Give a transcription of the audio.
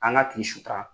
An ka tigi sutara